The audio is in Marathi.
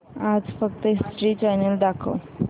आज फक्त हिस्ट्री चॅनल दाखव